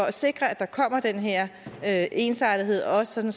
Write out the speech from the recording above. at sikre at der kommer den her her ensartethed også sådan